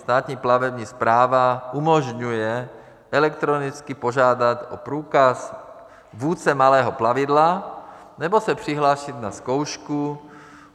Státní plavební správa umožňuje elektronicky požádat o průkaz vůdce malého plavidla nebo se přihlásit na zkoušku.